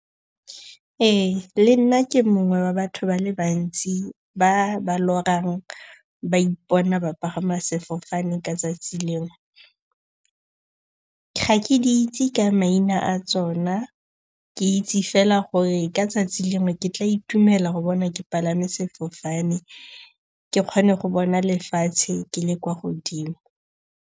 Ee, le nna ke mongwe wa batho ba le bantsi ba ba lorang ba ipona ba pagama sefofane ka 'tsatsi lengwe. Ga ke di itse ka maina a tsona. Ke itse fela gore ka tsatsi lengwe ke tla itumela go bona ke palame sefofane ke kgone go bona lefatshe ke le kwa godimo.